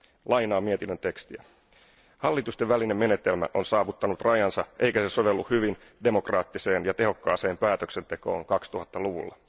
Lainaan mietinnön tekstiä Hallitustenvälinen menetelmä on saavuttanut rajansa eikä se sovellu hyvin demokraattiseen ja tehokkaaseen päätöksentekoon 2000 luvulla.